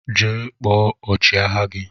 Jee kpọọ ọchi agha gi!!